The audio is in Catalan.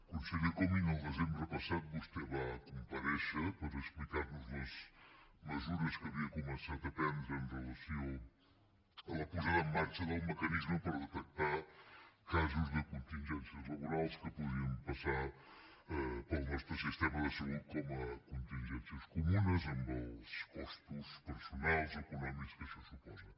conseller comín el desembre passat vostè va comparèixer per explicar nos les mesures que havia començat a prendre amb relació a la posada en marxa del mecanisme per detectar casos de contingències laborals que podien passar pel nostre sistema de salut com a contingències comunes amb els costos personals econòmics que això suposa